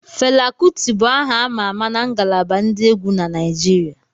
Fela Kuti bụ aha ama ama na ngalaba ndi egwu na Naijiria